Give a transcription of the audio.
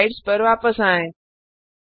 अपनी स्लाइड्स पर वापस आएँ